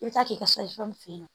I bɛ taa k'i ka f'e ye